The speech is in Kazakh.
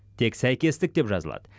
тек сәйкестік деп жазылады